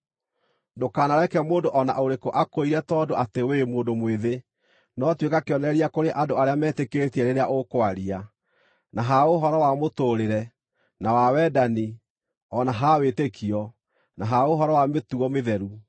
Ndũkanareke mũndũ o na ũrĩkũ akũire tondũ atĩ wĩ mũndũ mwĩthĩ, no tuĩka kĩonereria kũrĩ andũ arĩa metĩkĩtie rĩrĩa ũkwaria, na ha ũhoro wa mũtũũrĩre, na wa wendani, o na ha wĩtĩkio, na ha ũhoro wa mĩtugo mĩtheru.